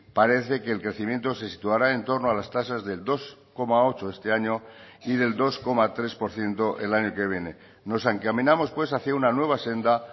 parece que el crecimiento se situará en torno a las tasas del dos coma ocho este año y del dos coma tres por ciento el año que viene nos encaminamos pues hacia una nueva senda